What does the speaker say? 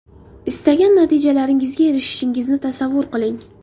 Istagan natijalaringizga erishishingizni tasavvur qiling.